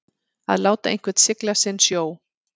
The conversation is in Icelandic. Að láta einhvern sigla sinn sjó